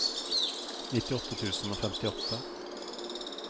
nittiåtte tusen og femtiåtte